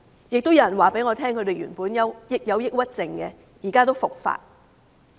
亦有人告訴我，他們曾患有抑鬱症，現在復發。